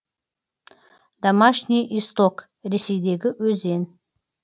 домашний исток ресейдегі өзен